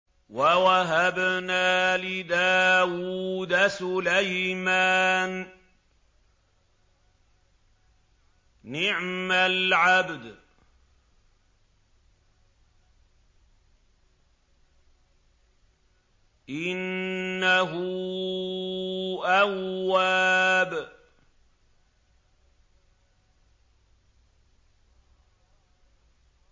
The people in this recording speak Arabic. وَوَهَبْنَا لِدَاوُودَ سُلَيْمَانَ ۚ نِعْمَ الْعَبْدُ ۖ إِنَّهُ أَوَّابٌ